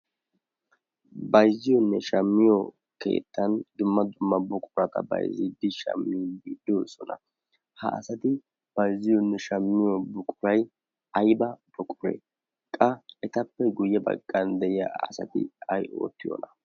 bayzziyoonne shaammiyo keettan dumma dumma buqurata bayzziddi shaami gidosona. ha asati bayzziyoonne shaamiyo buquray ayba boquree qa etappe guyye baggan de'iya asati ai oottiyoona?